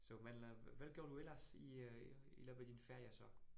Så men øh, hvad gør du ellers i øh i løbet af din ferie så?